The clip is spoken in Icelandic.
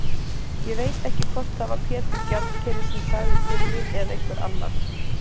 Ég veit ekki hvort það var Pétur gjaldkeri sem sagði til mín eða einhver annar.